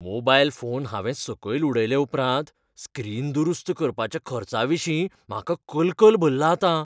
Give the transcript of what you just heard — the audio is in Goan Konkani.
मोबायल फोन हांवें सकयल उडयले उपरांत स्क्रीन दुरुस्त करपाच्या खर्चाविशीं म्हाका कलकल भरला आतां.